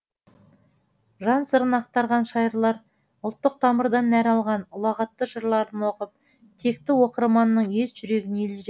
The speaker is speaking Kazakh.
жан сырын ақтарған шайырлар ұлттық тамырдан нәр алған ұлағатты жырларын оқып текті оқырманның ет жүрегін елжіретті